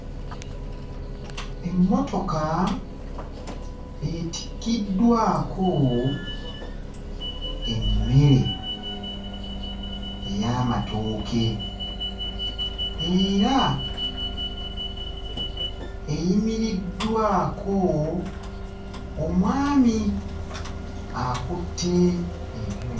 Emmotoka etikkiddwako emmere ey'amatooke era eyimiriddwako omwami akutte ebyu...